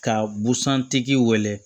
Ka busan tigi wele